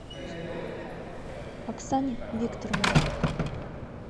оксане викторовне